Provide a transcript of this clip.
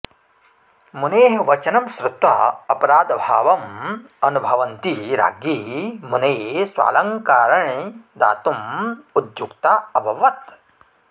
मुनेः वचनं श्रुत्वा अपराधभावम् अनुभवन्ती राज्ञी मुनये स्वालङ्काराणि दातुम् उद्युक्ता अभवत्